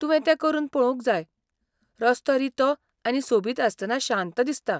तुवें तें करून पळोवंक जाय, रस्तो रितो आनी सोबीत आसतना शांत दिसता.